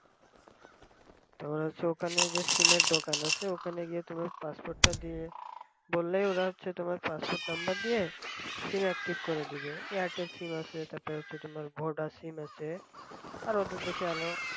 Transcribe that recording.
তোমার ওখানে হচ্ছে যে sim র দোকান আছে ওখানে গিয়ে তোমার passport টা দিয়ে বললে হচ্ছে তোমার passport number দিয়ে sim active করে দেবে। এয়ারটেল sim আছে তারপর হচ্ছে তোমার ভোডা sim আছে আরো অন্যান্য